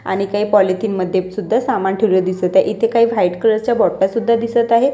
आणि काय पॉलिथिन मध्ये सुद्धा सामान ठेवले दिसत आहे इथे काय व्हाईट कलरच्या बॉटल सुद्धा दिसत आहेत.